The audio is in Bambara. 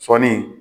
Sɔɔni